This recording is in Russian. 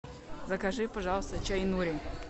закажи пожалуйста чай нури